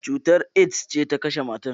Cutar AIDS ce ta kashe matar.